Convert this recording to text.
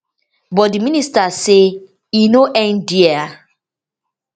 but di minister say e no end dia